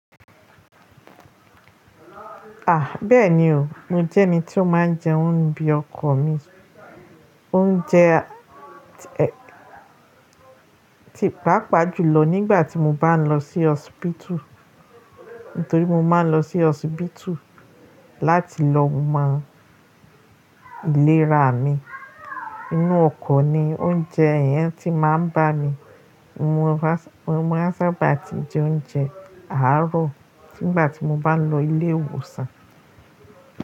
À, bẹ́ẹ̀ni o, mo jẹ́ ẹni tí ó máa ń jẹ oúnjẹ ọkọ̀ mi. Oúnjẹ ti papàjùlọ nígbà tí mo bá ń lọ sí osipitu, nítorí mo máa ń lọ sí osipitu láti lọ mọ ìlera mi. Inú ọkọ̀ ni oúnjẹ yẹn ti máa ń bá mi. Mo máa sábà ti jẹ oúnjẹ àárọ̀ nígbà tí mo bá ń lọ ilé ìwòsàn.